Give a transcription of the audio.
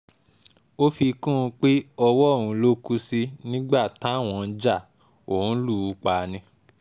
ó fi kún un pé ọwọ́ òun ló kù sí nígbà táwọn ń já òun lù ú pa á ni